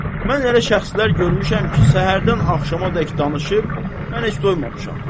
Mən elə şəxslər görmüşəm ki, səhərdən axşamədək danışıb, mən heç doymamışam.